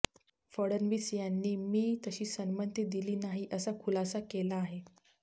फडणवीस यांनी मी तशी संमती दिली नाही असा खुलासा केला आहे